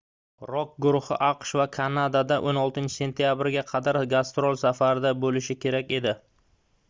rok guruhi aqsh va kanadada 16-sentyabrga qadar gastrol safarida boʻlishi kerak edi